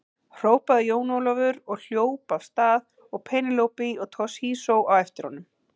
Hrópaði Jón Ólafur og hljóp af stað og Penélope og Toshizo á eftir honum.